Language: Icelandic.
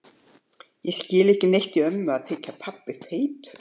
En ég skil ekki neitt í ömmu að þykja pabbi feitur.